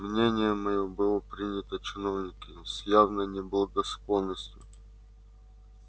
мнение моё было принято чиновниками с явною неблагосклонностью